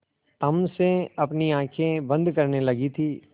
तम से अपनी आँखें बंद करने लगी थी